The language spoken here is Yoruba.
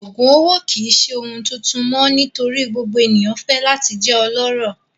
Oogun owo kii ṣe ohun tuntun mọ nitori gbogbo eniyan fẹ lati jẹ ọlọrọ